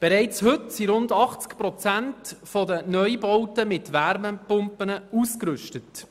Bereits heute sind rund 80 Prozent der Neubauten mit Wärmepumpen ausgerüstet.